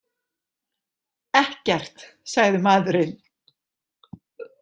Ekkert, sagði maðurinn.